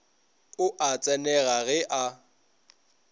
o a tsenega ge a